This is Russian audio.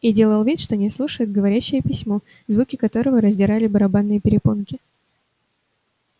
и делал вид что не слушает говорящее письмо звуки которого раздирали барабанные перепонки